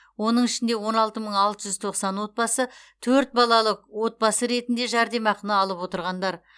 оның ішінде он алты мың алты жүз тоқсан отбасы төрт балалы отбасы ретінде жәрдемақыны алып отырғандар